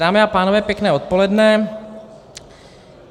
Dámy a pánové, pěkné odpoledne.